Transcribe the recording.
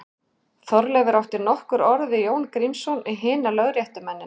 Þorleifur átti nokkur orð við Jón Grímsson og hina lögréttumennina.